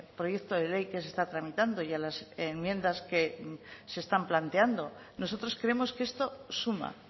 proyecto de ley que se está tramitando y a las enmiendas que se están planteando nosotros creemos que esto suma